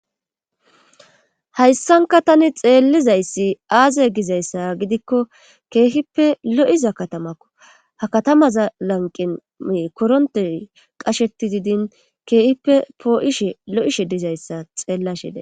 Hayssanka tani xeellizayssi aaze gizayssa gidikko keehippe lo7iza katamakko ha katamaza lanqime koronte qasheti didin keehippe poo7ishe lo7ishe dizayssa xeellashede.